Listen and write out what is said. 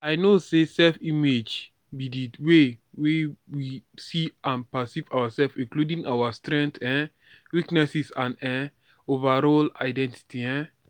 i know say self-image be di way wey we see and perceive ourselves including our strengths um weakness and um overall identity. um